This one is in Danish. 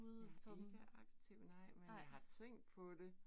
Jeg ikke aktiv nej, men jeg har tænkt på det